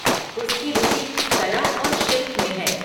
उसकी रुचि कला और शिल्प में है।